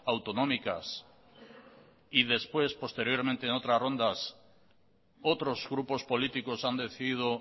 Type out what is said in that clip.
autonómicas y después posteriormente en otras rondas otros grupos políticos han decidido